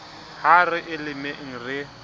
ha re e lemeng re